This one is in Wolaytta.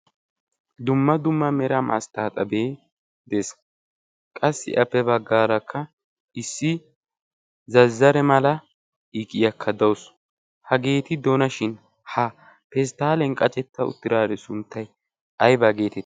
Dumma dumma mera masttaxabee de'ees qassi appe ya baggaarakka zazzare mala iqiyaakka dawusu hageeti dona shin ha pestaaliyaan qashetti uttidaari sunttay ayba geetettii?